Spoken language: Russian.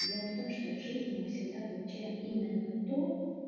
дело в том что в жизни мы всегда получаем именно то